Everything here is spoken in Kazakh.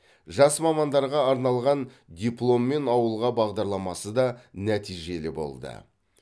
жас мамандарға арналған дипломмен ауылға бағдарламасы да нәтижелі болды